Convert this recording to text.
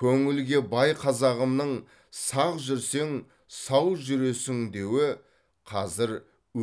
көңілге бай қазағымның сақ жүрсең сау жүресің деуі қазір